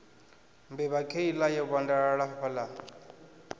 mbevha kheiḽa yo vhandalala hafhaḽa